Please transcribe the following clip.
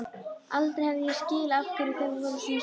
Aldrei hef ég skilið af hverju þau voru svona sterk.